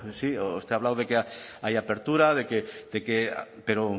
sí usted ha hablado de que hay apertura de que de que pero